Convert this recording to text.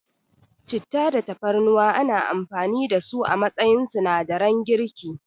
Citta da Tafarnuwa ana amfani da su a matsayin sinadaran girki.